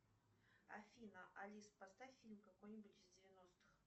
афина алис поставь фильм какой нибудь из девяностых